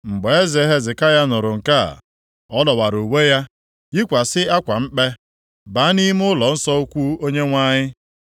Mgbe eze Hezekaya nụrụ nke a, ọ dọwara uwe ya, yikwasị akwa mkpe, baa nʼime ụlọnsọ ukwu Onyenwe anyị.